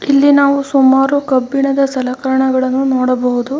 ಇಲ್ಲಿ ನಾವು ಸುಮಾರು ಕಬ್ಬಿಣದ ಸಲಕರಣೆಗಳನ್ನು ನೋಡಬಹುದು.